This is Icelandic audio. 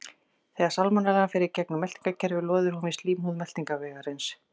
Þegar salmonellan fer í gegnum meltingarkerfið loðir hún við slímhúð meltingarvegarins.